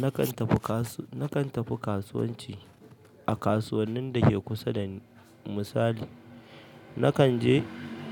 Nakan tafi kasuwanci a kasuwannin da ke kusa da ni misali. Nakan je